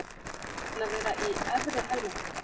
Við vonumst til að vera í efri helmingnum.